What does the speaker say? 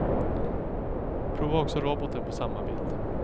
Prova också roboten på samma bild.